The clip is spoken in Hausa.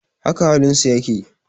Haka halin su yake.